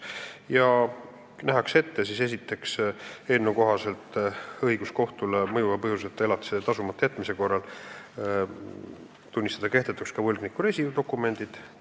Esiteks nähakse eelnõuga ette anda kohtule õigus mõjuva põhjuseta elatise tasumata jätmise korral tunnistada kehtetuks võlgniku reisidokumendid.